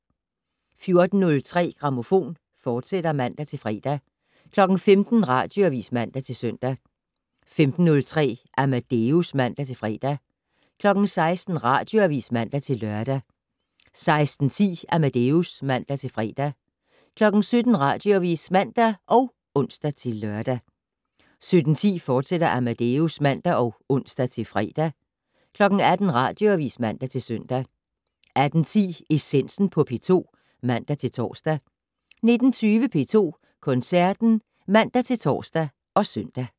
14:03: Grammofon, fortsat (man-fre) 15:00: Radioavis (man-søn) 15:03: Amadeus (man-fre) 16:00: Radioavis (man-lør) 16:10: Amadeus (man-fre) 17:00: Radioavis (man og ons-lør) 17:10: Amadeus, fortsat (man og ons-fre) 18:00: Radioavis (man-søn) 18:10: Essensen på P2 (man-tor) 19:20: P2 Koncerten (man-tor og søn)